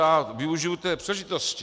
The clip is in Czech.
Já využiji té příležitosti.